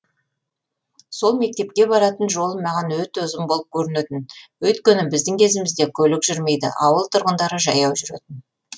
сол мектепке баратын жолым маған өте ұзын болып көрінетін өйткені біздің кезімізде көлік жүрмейді ауыл тұрғындары жаяу жүретін